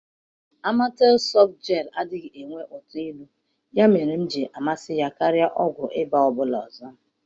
amatel soft gel adịghị enwe ụtọ ilu ya mere m ji amasị ya karịa ọgwụ ịba ọ bụla ọzọ.M